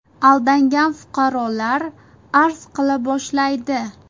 Aldangan fuqarolar arz qila boshlaydi.